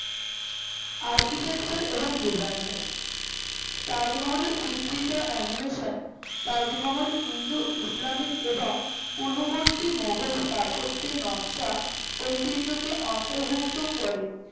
architecture এবং designer তাজমহলের চিত্রিত animation তাজমহল ইন্দো ইসলামিক এবং পূর্ববর্তী মোঘল স্থাপত্যের নকশা ঐতিহ্যকে অন্তর্ভুক্ত করে